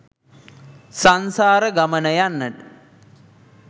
සංසාර ගමන යන්න